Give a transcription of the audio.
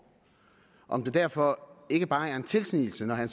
om det derfor ikke bare er en tilsnigelse når herre